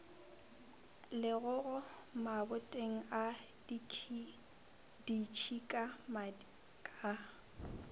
legogo maboteng a ditšhikamadi ka